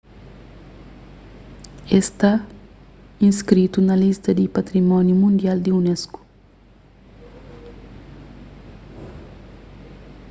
es sta inskritu na lista di patrimóniu mundial di unesco